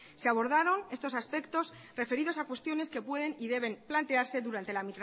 se abordaron estos aspectos referidos a cuestiones que pueden y deben plantearse durante la